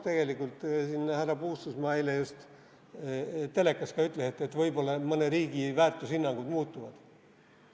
Tegelikult härra Puustusmaa eile just telekas ka ütles, et võib-olla mõne riigi väärtushinnangud muutuvad.